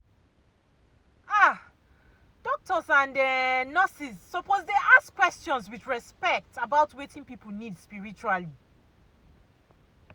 ah doctors and um nurses suppose to dey ask questions with respect about wetin people need spiritually.